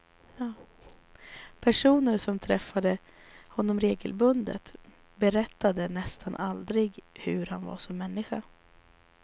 Personer som träffade honom regelbundet berättade nästan aldrig hur han var som människa.